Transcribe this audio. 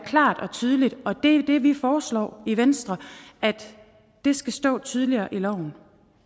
klart og tydeligt det er det vi foreslår i venstre det skal stå tydeligere i loven